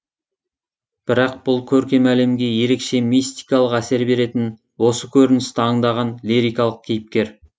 бірақ бұл көркем әлемге ерекше мистикалық әсер беретін осы көріністі аңдаған лирикалық кейіпкер